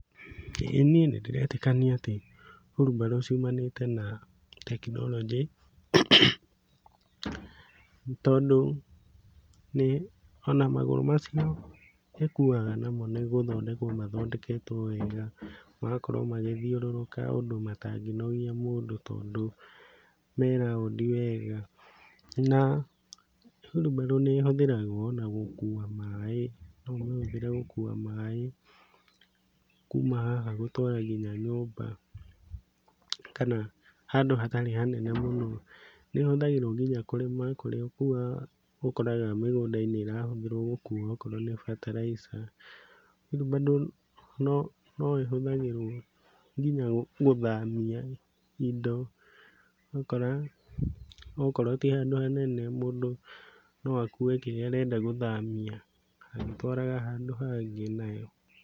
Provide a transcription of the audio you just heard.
Ĩ niĩ nĩ ndĩretikania ati hurumbarũ ciumanĩte na tekinoronjĩ. Tondũ ona magũrũ macio ĩkuaga namo nĩgũthondekwo mathondeketwo wega. Magakorwo magĩthiũrũrũka ũndũ matangĩnogia mũndũ tondũ me raũndi wega. Na hurumbarũ nĩ ĩhũthĩragwo na gũkua maaĩ. No umĩhũthĩre gũkua maaĩ kuma haha gũtwara nginya nyũmba kana handũ hatarĩ hanene mũno. Nĩ ĩhũthagĩrwo nginya kũrĩma kũrĩa ũkoraga mĩgũnda~inĩ irahũthĩrwo gũkũa okorwo nĩ fertilizer. Hurumbarũ no ĩhũthagĩrwo nginya gũthamia indo okorwo ti handũ hanene mũndũ no akue kĩrĩa arenda gũthamia agĩtwaraga handũ hangĩ nayo.